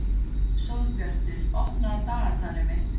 Sólbjartur, opnaðu dagatalið mitt.